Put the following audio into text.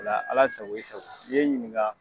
Ala sago i sago i ye n ɲininka